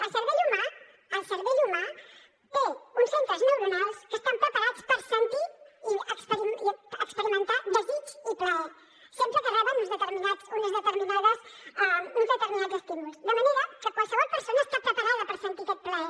el cervell humà el cervell humà té uns centres neuronals que estan preparats per sentir i experimentar desig i plaer sempre que reben uns determinats estímuls de manera que qualsevol persona està preparada per sentir aquest plaer